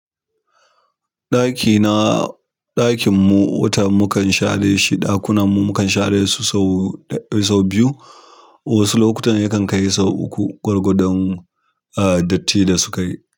Ɗaki na, ɗakin mu, wata mu kan share shi, ɗakunan mu mukan share su sau ɗaya sau biyu, wasu lokutan yakan kai sau uku. Gwargwadon, ah, datti da sukayi.